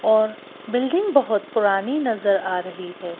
और बिल्डिंग बहुत पुरानी नजर आ रही है।